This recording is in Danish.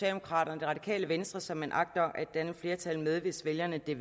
radikale venstre som man agter at danne flertal med hvis vælgerne vil